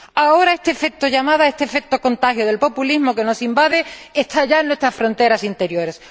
Ahora este efecto de llamada, este efecto de contagio del populismo que nos invade está ya en nuestras fronteras interiores.